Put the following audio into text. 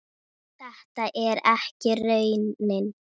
Þetta er ekki raunin.